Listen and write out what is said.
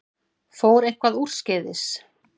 Fór eitthvað úrskeiðis?